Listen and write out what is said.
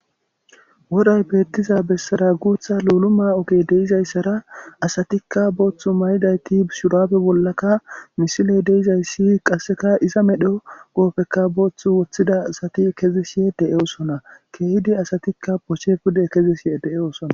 Woray betiza besara guththa luluma ogey de'izaysara asatikka booththu mayidayti shurabe bolakka misiley de'izayss iza medho qofekka boththu woththida asati kezishshe de'osona kehidi asatikka poche pude ke'ishe de'osonna